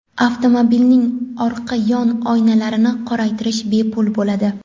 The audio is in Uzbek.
Avtomobilning orqa yon oynalarini qoraytirish bepul bo‘ladi.